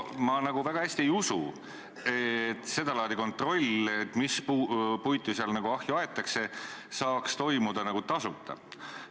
Ma nagu väga hästi ei usu, et seda laadi kontroll, et mis puitu seal ahju aetakse, saaks toimuda tasuta.